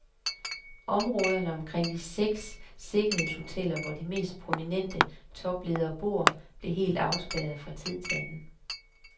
Områderne omkring de seks sikkerhedshoteller, hvor de mest prominente topledere bor, bliver helt afspærret fra tid til anden.